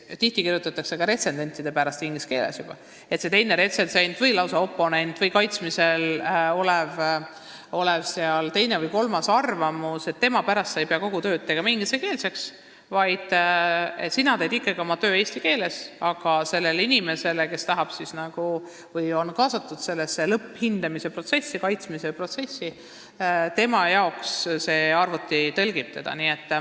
Tihti kirjutatakse töö ka retsensentide pärast inglise keeles, aga ei pea teise retsensendi või lausa oponendi või teise või kolmanda arvamuse saamiseks kogu töö tegema inglise keeles, vaid töö võiks teha ikkagi eesti keeles, aga sellele inimesele, kes on kaasatud sellesse lõpphindamise protsessi, kaitsmise protsessi, tõlgiks selle kõik arvuti.